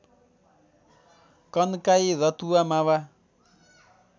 Kankai Ratuwa Mawa